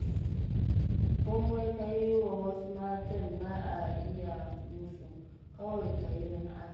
Komai ka yi wa wasu matan ba'a iya musu, kawai ka yi don Allah.